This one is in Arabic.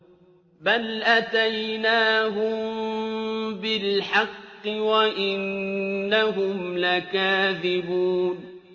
بَلْ أَتَيْنَاهُم بِالْحَقِّ وَإِنَّهُمْ لَكَاذِبُونَ